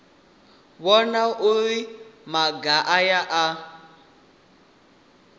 vhona uri maga aya a